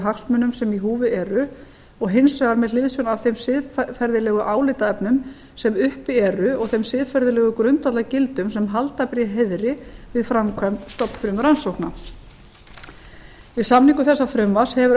hagsmunum sem í húfi eru og hins vegar með hliðsjón af þeim siðferðilegu álitaefnum sem uppi eru og þeim siðferðilegu grundvallargildum sem halda ber í heiðri við framkvæmd stofnfrumurannsókna við samningu þessa frumvarps hefur